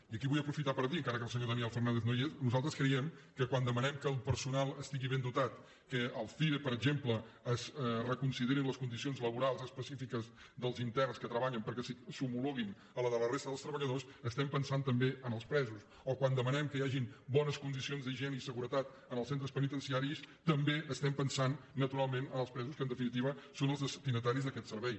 i aquí vull aprofitar per dir encara que el senyor daniel fernández no hi és que nosaltres creiem que quan demanem que el personal estigui ben dotat que al cire per exemple es reconsiderin les condicions laborals específiques dels interns que treballen perquè s’homologuin a les de la resta dels treballadors estem pensant també en els presos o quan demanem que hi hagin bones condicions d’higie ne i seguretat en els centres penitenciaris també estem pensant naturalment en els presos que en definitiva són els destinataris d’aquest servei